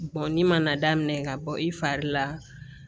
ni mana daminɛ ka bɔ i fari la